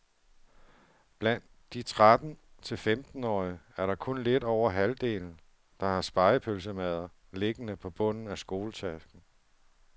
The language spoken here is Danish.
Blandt de tretten til femtenårige er det kun lidt over halvdelen, der har spegepølsemadder liggende på bunden af skoletasken.